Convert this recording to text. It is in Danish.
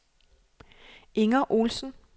Inger Olsen